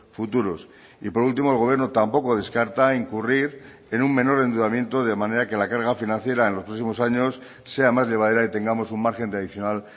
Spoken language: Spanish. futuros y por último el gobierno tampoco descarta incurrir en un menor endeudamiento de manera que la carga financiera en los próximos años sea más llevadera y tengamos un margen adicional